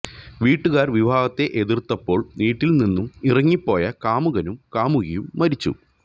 വീട്ടുകാർ വിവാഹത്തെ എതിർത്തപ്പോൾ വീട്ടിൽ നിന്നും ഇറങ്ങിപ്പോയ കാമുകനും കാമുകിയും മരിച്ചു